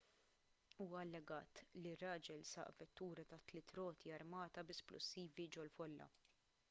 huwa allegat li ir-raġel saq vettura ta' tliet roti armata bi splussivi ġol-folla